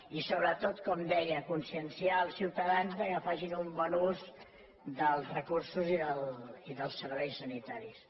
i sobretot com deia conscienciar els ciuta·dans que facin un bon ús dels recursos i dels serveis sanitaris